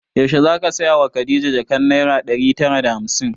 Yaushe zaka saya wa khadija jakan naira ɗari tara da hamsin?